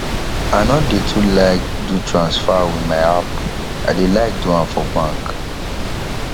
i no dey too like do transfer with my app i dey like do am for bank